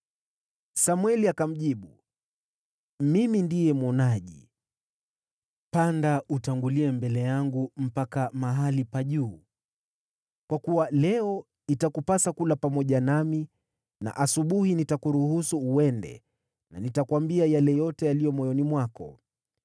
Samweli akamjibu Sauli, “Mimi ndiye mwonaji, panda utangulie mbele yangu mpaka mahali pa juu, kwa kuwa leo itakupasa kula pamoja nami na asubuhi nitakuruhusu uende na nitakuambia yale yote yaliyo moyoni mwako.